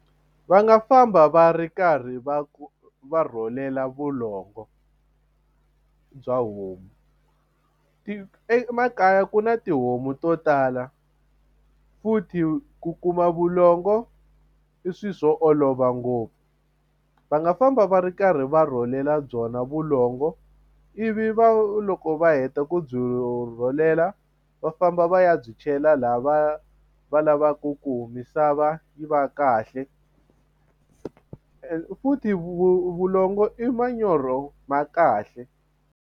Va nga famba va ri karhi va ku va rhwalela vulongo bya homu emakaya ku na tihomu to tala futhi ku kuma vulongo i swilo swo olova ngopfu va nga famba va ri karhi va rhwalela byona vulongo ivi va loko va heta ku byi rhwalela va famba va ya byi chela laha va va lavaku ku misava yi va kahle futhi vulongo i manyoro ma kahle.